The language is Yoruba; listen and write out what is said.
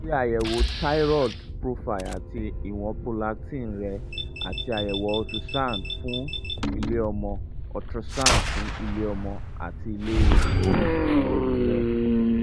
ṣe àyẹ̀wò thyroid profile àti ìwọ̀n prolactin rẹ àti àyẹ̀wò ultrasound fún ilé-ọmọ ultrasound fún ilé-ọmọ àti ilé-ẹyin rẹ